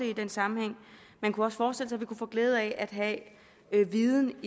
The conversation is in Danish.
i den sammenhæng man kunne også forestille sig vi kunne få glæde af at have viden